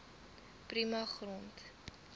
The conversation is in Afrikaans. prima grond